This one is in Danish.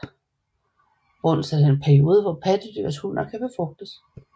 Brunst er den periode hvor pattedyrs hunner kan befrugtes